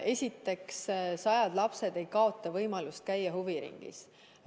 Esiteks, sajad lapsed ei kaota võimalust käia huviringis.